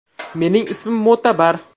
Mening ismim Mo‘tabar.